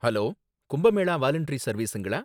Hello, Kumbh Mela voluntary சர்வீஸுங்களா?